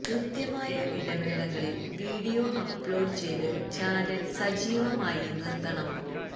കൃത്യമായ ഇടവേളകളിൽ video upload ചെയ്ത് ചാനല് സജീവമായി നിർത്തണം